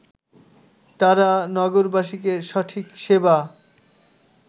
তারা নগরবাসীকে সঠিক সেবা